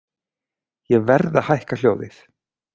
Ég verð að hækka hljóðið.